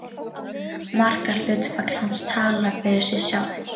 Markahlutfall hans talar fyrir sig sjálft.